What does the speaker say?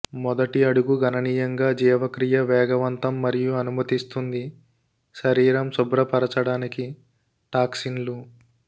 మొదటి అడుగు గణనీయంగా జీవక్రియ వేగవంతం మరియు అనుమతిస్తుంది శరీరం శుభ్రపరచడానికి టాక్సిన్లు